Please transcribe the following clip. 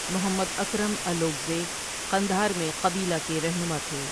محمد اکرم الوکہزے قندھار میں قبیلہ کے رہنما تھے۔